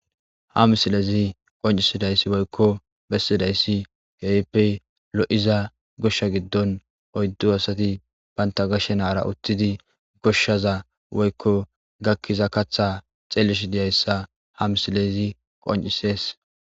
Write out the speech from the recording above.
ha misilezi qoncisidayssi woykko bessidayssi kehippe lo7iza goshsha giddon oyddu asati baynta gashenaara uttidi goshshaza woykko gakkiza katha xeelish diyayssa ha misilezi qoncisees